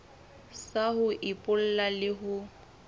sa ho epolla le ho